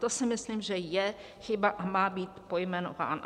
To si myslím, že je chyba a má být pojmenována.